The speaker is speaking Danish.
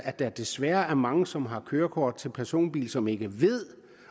at der desværre er mange som har kørekort til personbil som ikke ved